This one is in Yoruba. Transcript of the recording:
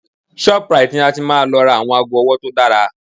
Shoprite ni a ti máa lọ ra àwọn aago ọwọ́ tó dára